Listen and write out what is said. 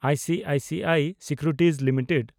I C I C I securities limited